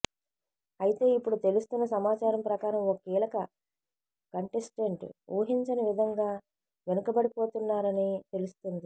అయితే ఇపుడు తెలుస్తున్న సమాచారం ప్రకారం ఓ కీలక కంటెస్టెంట్ ఊహించని విధంగా వెనుకబడిపోతున్నారని తెలుస్తుంది